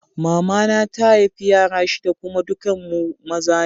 Mama na ta haifa yara shida kuma dukan ku maza ne.